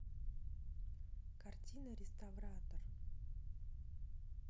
картина реставратор